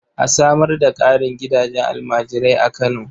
A samar da ƙarin gidajen almajirai a Kano.